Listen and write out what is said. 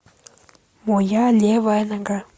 моя левая нога